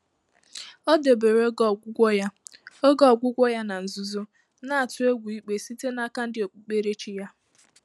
Ọ́ dèbèrè ògé ọ́gwụ́gwọ́ yá ògé ọ́gwụ́gwọ́ yá nà nzùzò, nà-àtụ́ égwú íkpé sìté n’áká ndị́ ókpùkpéréchí yá.